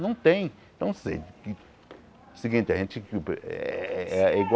Não tem. Então assim seguinte a gente uh eh eh é